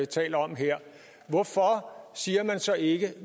taler om her hvorfor siger man så ikke at